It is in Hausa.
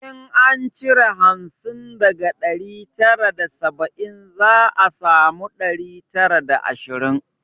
In an cire hamsin daga ɗari tara da saba'in za a sami ɗari tara da ashirin